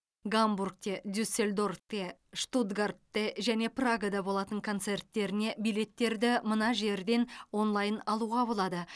гамбургте дюссельдорфте штутгартте және прагада болатын концерттеріне билеттерді мына жерден онлайн алуға болады